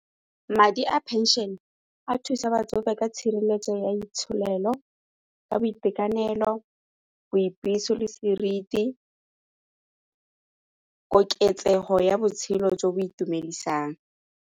Madi a pension-e a thusa batsofe ka tshireletso ya itsholelo, ka boitekanelo, le seriti, koketsego ya botshelo jo bo itumedisang.